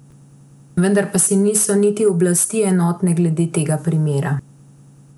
Vendar pa si niso niti oblasti enotne glede tega primera.